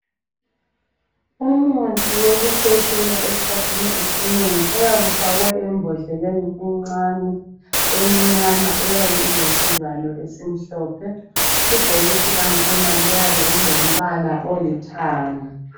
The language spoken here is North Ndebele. Umuthi wokukhwehlela eskhathini esinengi uyabe ufakwe embodleleni encane emnyama eyabe ilesivalo esimhlophe .Ibhokisi lakhona liyabe lilombala olithanga .